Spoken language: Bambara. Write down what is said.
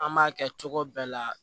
An b'a kɛ cogo bɛɛ la